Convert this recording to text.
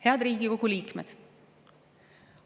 Head Riigikogu liikmed!